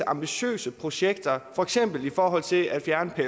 ambitiøse projekter for eksempel i forhold til at fjerne